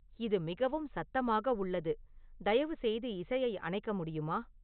இது மிகவும் சத்தமாக உள்ளது தயவுசெய்து இசையை அணைக்க முடியுமா